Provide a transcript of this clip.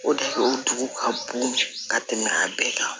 O de o tugu ka bon ka tɛmɛ a bɛɛ kan